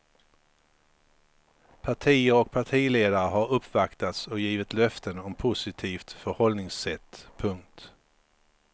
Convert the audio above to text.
Partier och partiledare har uppvaktats och givit löften om positivt förhållningssätt. punkt